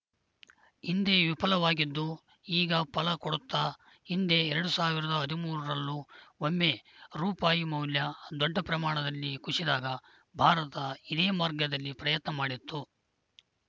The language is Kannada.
ಹಿಂದೆ ವಿಫಲವಾಗಿದ್ದು ಈಗ ಫಲ ಕೊಡುತ್ತಾ ಹಿಂದೆ ಎರಡ್ ಸಾವಿರದ ಹದಿಮೂರರಲ್ಲೂ ಒಮ್ಮೆ ರೂಪಾಯಿ ಮೌಲ್ಯ ದೊಡ್ಡ ಪ್ರಮಾಣದಲ್ಲಿ ಕುಶಿದಾಗ ಭಾರತ ಇದೇ ಮಾರ್ಗದಲ್ಲಿ ಪ್ರಯತ್ನ ಮಾಡಿತ್ತು